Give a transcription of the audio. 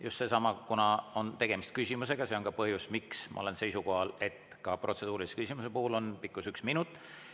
Ja kuna on tegemist küsimusega, siis see on ka põhjus, miks ma olen seisukohal, et ka protseduurilise küsimuse puhul on selle pikkus üks minut.